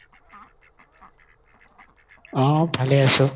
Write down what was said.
অ ভালে আছো।